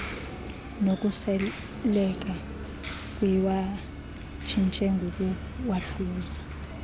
nokuseleka siwatshintshe ngokuwahluza